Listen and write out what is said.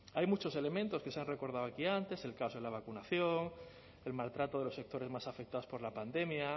hay muchos elementos que se han recordado aquí antes el caos de la vacunación el maltrato de los sectores más afectados por la pandemia